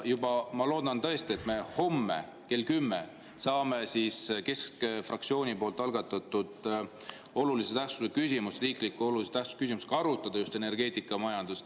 Ma loodan tõesti, et me homme kell 10 saame keskfraktsiooni algatatud riiklikult oluliselt tähtsat küsimust arutada, just energeetikamajandust.